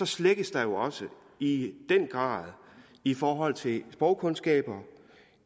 slækkes der jo også i den grad i forhold til sprogkundskaber